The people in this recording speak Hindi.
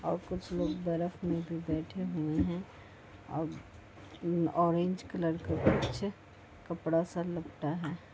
और कुछ लोग बर्फ में भी बैठे हुए हैं अब ऑरेंज कलर का बच्चा कपड़ा सा लगता है ।